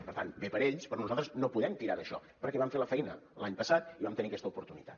per tant bé per a ells però nosaltres no podem tirar d’això perquè vam fer la feina l’any passat i vam tenir aquesta oportunitat